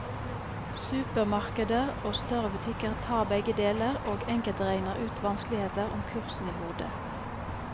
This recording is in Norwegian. Supermarkeder og større butikker tar begge deler, og enkelte regner uten vanskeligheter om kursen i hodet.